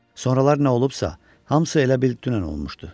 Sonralar nə olubsa, hamısı elə bil dünən olmuşdu.